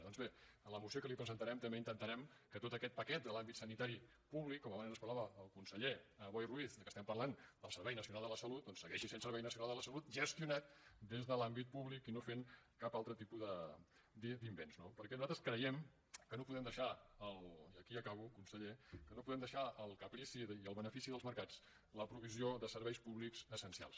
doncs bé a la moció que li presentarem també intentarem que tot aquest paquet de l’àmbit sanitari públic com abans ens parlava el conseller boi ruiz que estem parlant del servei nacional de la salut doncs segueixi sent servei nacional de la salut gestionat des de l’àmbit públic i no fent cap altre tipus d’invents no perquè nosaltres creiem que no podem deixar i aquí acabo conseller al caprici i al benefici dels mercats la provisió de serveis públics essencials